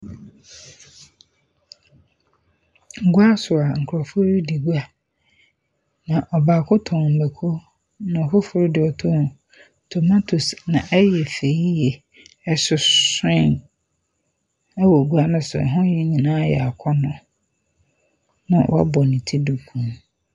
Gua so a nkorɔfo redi gua, na ɔbaako tɔn mako, na foforo de ɔtɔn tomatoes na ɛy fɛ yie, ɛsosoe wɔ gua nee so. Hɔ nyinaa yɛ akɔnɔ.